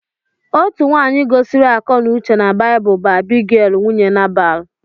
Otu nwaanyị gosiri akọnauche na Baịbụl bụ Abigail nwunye Nabal.